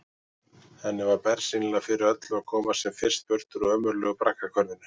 Henni var bersýnilega fyrir öllu að komast sem fyrst burt úr ömurlegu braggahverfinu.